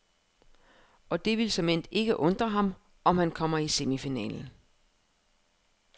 Og det vil såmænd ikke undre ham, om han kommer i semifinalen.